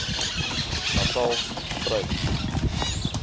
natalspruit